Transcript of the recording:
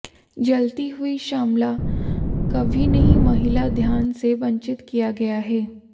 जलती हुई श्यामला कभी नहीं महिला ध्यान से वंचित किया गया है